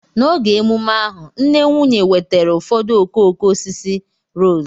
N'oge emume ahu, nne nwunye wetara ụfọdụ okooko osisi rose